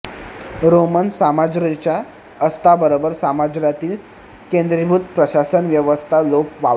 Roman साम्राज्याच्या अस्ताबरोबर साम्राज्यातील केंद्रीभूत प्रशासन व्यवस्था लोप पावली